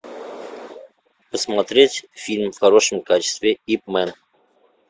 смотреть фильм в хорошем качестве ип ман